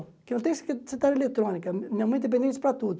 Porque eu não tenho se secretário eletrônica, minha mãe é dependente para tudo.